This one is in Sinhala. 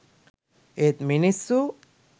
ඒත් මිනිස්සු